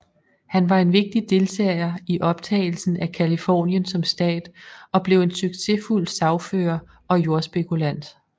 Han var en vigtig deltager i optagelsen af Californien som stat og blev en succesfuld sagfører og jordspekulant